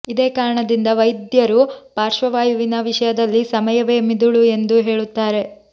ಇದೇ ಕಾರಣದಿಂದ ವೈದ್ಯರು ಪಾರ್ಶ್ವವಾಯುವಿನ ವಿಷಯದಲ್ಲಿ ಸಮಯವೇ ಮಿದುಳು ಎಂದು ಹೇಳುತ್ತಾರೆ